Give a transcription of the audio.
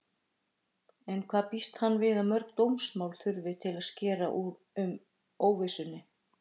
En hvað býst hann við að mörg dómsmál þurfi til að skera úr óvissunni?